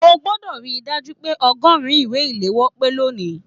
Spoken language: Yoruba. O gbọdọ ríi dájú pé ọgọrùn ìwé iléwọ́ pé lóni!